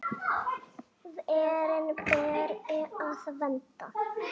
Verin beri að vernda.